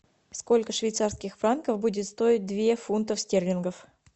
сколько швейцарских франков будет стоить две фунтов стерлингов